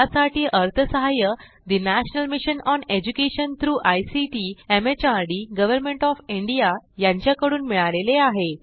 यासाठी अर्थसहाय्य national mission on education through ICT MHRD government of India यांच्याकडून मिळालेले आहे